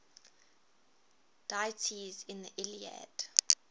deities in the iliad